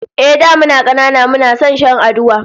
Ehh, da muna kanana muna son shan aduwa